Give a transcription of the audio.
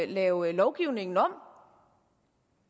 lave lovgivningen om